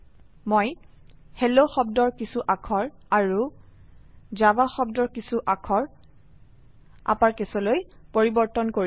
মই হেল্ল শব্দৰ কিছু অাক্ষৰ আৰু জাভা শব্দৰ কিছু অাক্ষৰ অাপাৰকেছলৈ পৰিবৰ্তন কৰিছো